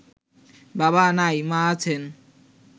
বাবা নাই মা আছেন